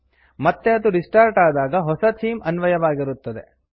ಮತ್ತೆ ಅದು ರಿಸ್ಟಾರ್ಟ್ ಆದಾಗ ಹೊಸ ಥೀಮ್ ಅನ್ವಯವಾಗಿರುತ್ತದೆ